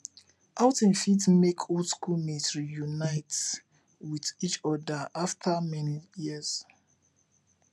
outing fit make old school mate reunite with each oda after many years